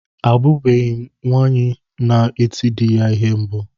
Ahụbeghi m nwaanyị na-eti dị ya ihe mbụ.